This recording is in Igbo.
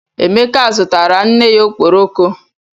Emeka zụtara nne ya ọkpọrọko